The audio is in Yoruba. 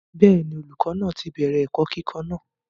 bẹ́ẹ̀ni, olùkọ́ náà ti bẹ̀rẹ̀ ẹ̀kọ́ kíkọ́ náà